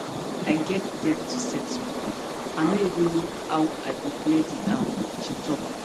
i get debts to settle i no even know how i go clear di am she tok